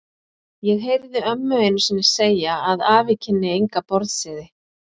Ég heyrði ömmu einu sinni segja að afi kynni enga borðsiði.